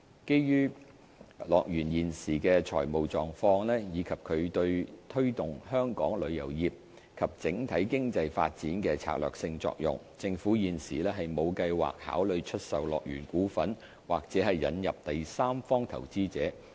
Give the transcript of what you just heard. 基於樂園現時的財務狀況，以及它對推動香港旅遊業及整體經濟發展的策略性作用，政府現時沒有計劃考慮出售樂園股份或引入第三方投資者。